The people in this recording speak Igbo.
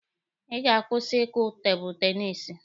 Ị ga-akwụsị ịkụ tebụlụ tenisi!